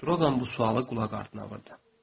Droqan bu sualı qulaqardına vurdu.